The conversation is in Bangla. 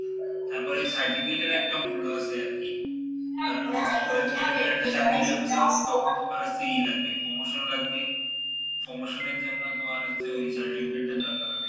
তারপরে এই certificate এর একটা মূল্য আসে আরকি কারণ তোমার হচ্ছে ই লাগবে promotion লাগবে promotion এর জন্য তোমার হচ্ছে ওই certificate টা দরকার হবে,